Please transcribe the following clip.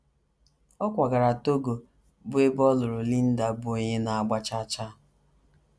Ọ kwagara Togo, bụ́ ebe ọ lụrụ Linda, bụ́ onye na - agbakwa chaa chaa.